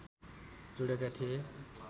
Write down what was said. जोडेका थिए